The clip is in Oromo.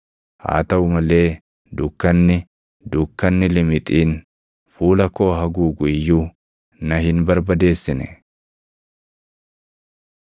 Haa taʼu malee dukkanni, dukkanni limixiin fuula koo haguugu iyyuu na hin barbadeessine.